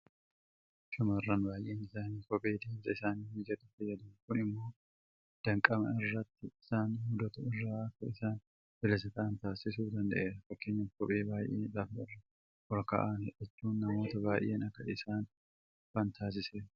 Shaamarran baay'een isaanii kophee deemsaf isaanii mijatu fayyadamu. Kun immoo danqama karaa irratti isaan mudatu irraa akka isaan bilisa ta'an taasisuu danda'eera. Fakkeenyaaf kophee baay'ee lafa irraa olka'an hidhachuun namoota baay'een akka isaan kufan taasiseera.